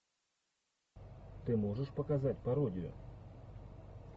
ты можешь показать пародию